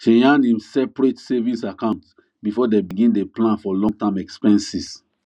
she yan im seperate savings account before dem begin day plan for long term expenses